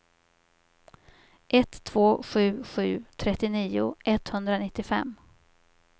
ett två sju sju trettionio etthundranittiofem